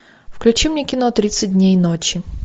включи мне кино тридцать дней ночи